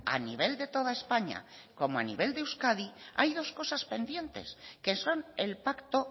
a nivel de toda españa como a nivel de euskadi hay dos cosas pendientes que son el pacto